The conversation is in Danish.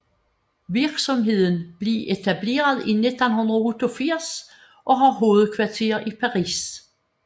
Virksomheden blev etableret i 1988 og har hovedkvarter i Paris